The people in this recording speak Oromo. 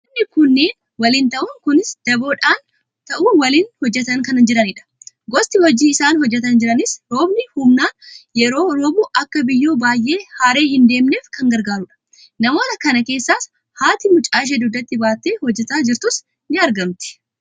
Namoonni kunneen waliin ta'uun kunis daboodhaan ta'uun waliin hojjetaa kan jiranidha. Gosti hojii isaan hojjetaa jiranis roobni humnaan yeroo roobu akka biyyoo baay'ee haree hin deemneef kan gargaarudha. Namoota kana keessas haati mucaashee dugdatti baattee hojjetaa jirtus ni argamti.